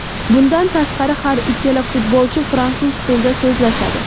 Bundan tashqari har ikkala futbolchi fransuz tilida so‘zlashadi.